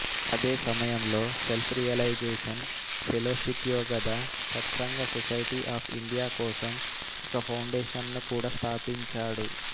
అదే సమయంలో self realisation ఫెలోషిప్యోగదా Satsanga society of India కోసం ఒక ఫౌండేషన్ను కూడా స్థాపించాడు